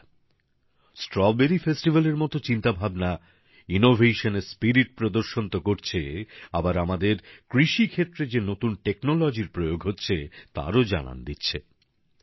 বন্ধুরা স্ট্রবেরী উৎসব মতো চিন্তাভাবনা উদ্ভাবনের এর মানসিকতা প্রদর্শন তো করছে আবার আমাদের কৃষি ক্ষেত্রে যে নতুন প্রযুক্তি প্রয়োগ হচ্ছে তারও জানান দিচ্ছে